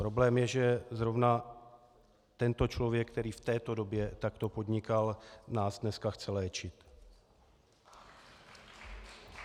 Problém je, že zrovna tento člověk, který v této době takto podnikal, nás dneska chce léčit.